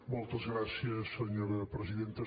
moltes gràcies senyora presidenta